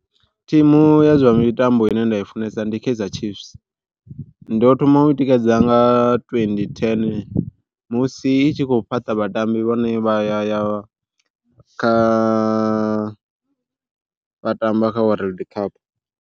Thimu ya zwa mitambo ine nda i funesa ndi Kaizer Chiefs, ndo thoma u i tikedza nga twenty ten musi i tshi khou fhaṱa vhatambi vhane vha ya ya kha vha tamba kha World Cup.